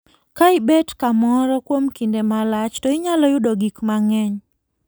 Ka ibet kamoro kuom kinde malach, to inyalo yudo gik mang'eny.